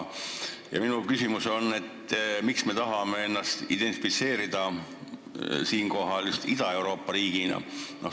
Minu küsimus on, miks me tahame ennast siinkohal identifitseerida just Ida-Euroopa riigina.